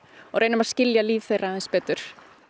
og reynum að skilja líf þeirra aðeins betur